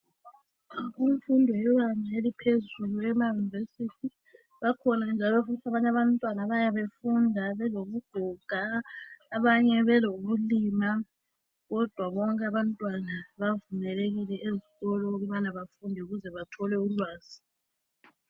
Imfundo yebanga eliphezulu emayunivesithi bakhona njalo futhi abanye abantwana abayabe befunda belobugoga abanye belobuloma kodwa bonke abantwana bavumelekile ezikolo ukuthi bafunde ukuze bathole ulwazi